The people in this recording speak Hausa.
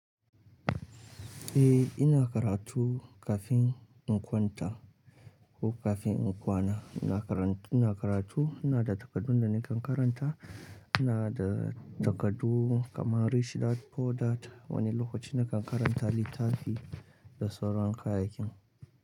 Eh ina karatu kafin in kwanta ko kafin in kwana. Ina karan ina karatu, ina da takaddun da nakan karanta. Ina da takardu kamar rich dad poor dad. Wani lokaci nakan karanta littafi da sauran kayayyakin.